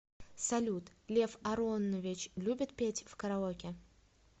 салют лев аронович любит петь в караоке